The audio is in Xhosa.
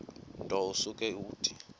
nto usuke uthi